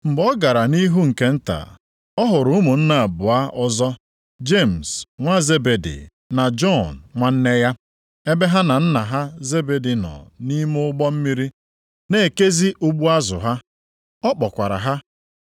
Mgbe ọ gara nʼihu nke nta, ọ hụrụ ụmụnne abụọ ọzọ, Jemis nwa Zebedi na Jọn nwanne ya, ebe ha na nna ha Zebedi nọ nʼime ụgbọ mmiri na-ekezi ụgbụ azụ ha. Ọ kpọkwara ha,